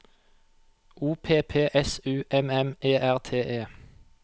O P P S U M M E R T E